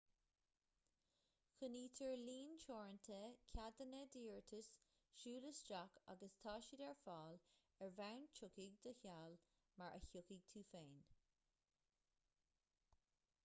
coinnítear líon teoranta ceadanna d'iarratais siúl isteach agus tá siad ar fáil ar bhonn tiocfaidh do sheal mar a thiocfaidh tú féin